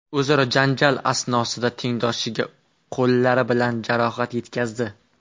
o‘zaro janjal asnosida tengdoshiga qo‘llari bilan jarohat yetkazdi.